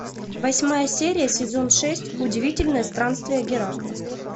восьмая серия сезон шесть удивительные странствия геракла